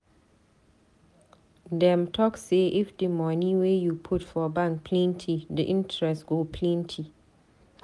Dem talk say if di money wey you put for bank plenty, di interest go plenty.